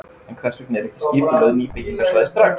En hvers vegna eru ekki skipulögð ný byggingarsvæði strax?